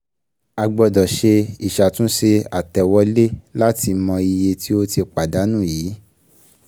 A gbọ́dọ̀ ṣe Ìṣàtúnṣe àtẹ̀wolé láti mọ iye tí ó ti pàdánù yíì